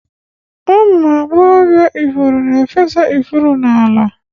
Ụmụ agbọghọ ifuru na-efesa ifuru n'ala